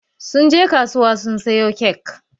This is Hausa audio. Sun je kasuwa sun sayo kek.